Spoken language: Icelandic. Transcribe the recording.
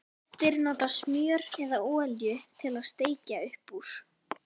Flestir nota smjör eða olíu til að steikja upp úr.